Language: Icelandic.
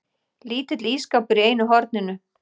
Lítill ísskápur í einu horninu.